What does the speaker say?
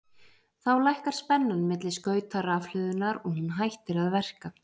þá lækkar spennan milli skauta rafhlöðunnar og hún hættir að verka